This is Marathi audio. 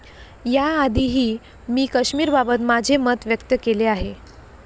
या आधीही मी कश्मीरबाबत माझे मत व्यक्त केले आहे.